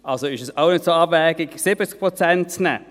Also ist es auch nicht so abwegig, 70 Prozent zu nehmen.